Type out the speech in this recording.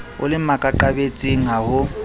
o le makaqabetsing ha ho